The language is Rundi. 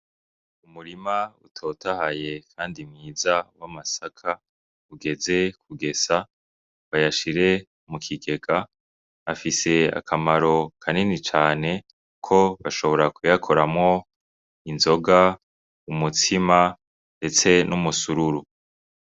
Umurima utotahaye kandi mwiza w'amasaka ugeze kugesa bayashire mu kiigega afise akamaro kaninicane kuko bashobora kuyakoramwo inzoga, umutsima ndetse n'umusururu.